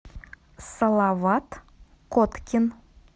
салават коткин